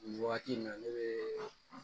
Nin wagati in na ne bɛ